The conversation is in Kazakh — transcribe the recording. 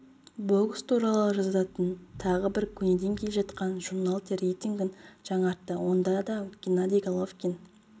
бокс туралы жазатын тағы бір көнеден келе жатқан журнал те рейтингін жаңартты онда да геннадий головкин